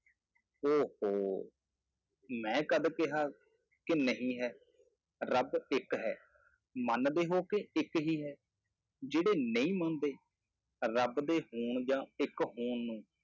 ਉਹ ਹੋ, ਮੈਂ ਕਦ ਕਿਹਾ ਕਿ ਨਹੀਂ ਹੈ, ਰੱਬ ਇੱਕ ਹੈ ਮੰਨਦੇ ਹੋ ਕਿ ਇੱਕ ਹੀ ਹੈ, ਜਿਹੜੇ ਨਹੀਂ ਮੰਨਦੇ, ਰੱਬ ਦੇ ਹੋਣ ਜਾਂ ਇੱਕ ਹੋਣ ਨੂੰ,